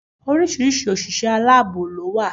Oríṣiríṣi òṣìṣẹ́ aláàbò ló wà